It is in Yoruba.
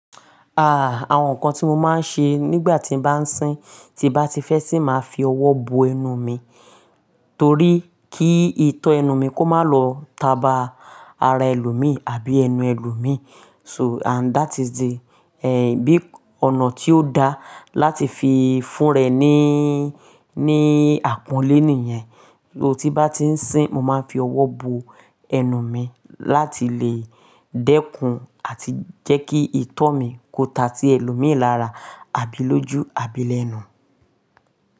Ah, àwọn nǹkan tí mo máa ń ṣe nígbà tí mo bá ń sín, tí mo bá ti fẹ́ sìn máa fi ọwọ́ bo ẹnu mi, torí kí ìtọ́ ẹnu mi kó má lọ taba ara ẹlòmíì àbí ẹnu ẹlòmíì. So and that is the, eh, bí ọ̀nà tí ó da láti fi fún rẹ̀ níí, ní àpọ́nlé nìyen. Torí bá ti ń sín, mo máa ń fi ọwọ́ bo ẹnu mi láti lè dẹ́kun àti jẹ́ kí ìtọ́ mi kó ta sí ẹlòmíì lára àbí lójú, àbí lẹ́nu.